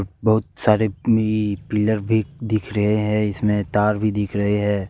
बहुत सारे ई पिलर भी दिख रहे हैं इसमें तार भी दिख रहे हैं।